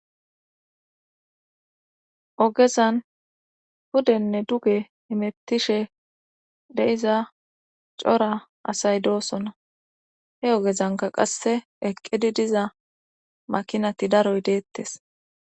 Ogezan hudenne duge himittishe de7iza cora asay doosona he ogezanka qasse eqqidi diza makinati daroy deettes